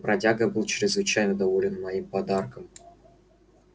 бродяга был чрезвычайно доволен моим подарком